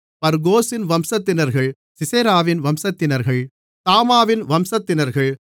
பர்கோசின் வம்சத்தினர்கள் சிசெராவின் வம்சத்தினர்கள் தாமாவின் வம்சத்தினர்கள்